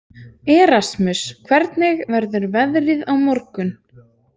Erasmus, hvernig verður veðrið á morgun?